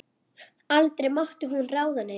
Aldrei mátti hún ráða neinu.